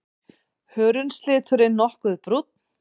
Hörundsliturinn nokkuð brúnn.